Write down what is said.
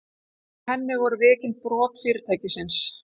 Í henni voru viðurkennd brot fyrirtækisins